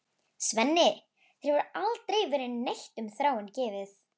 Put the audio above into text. Svenni, þér hefur aldrei verið neitt um Þráin gefið.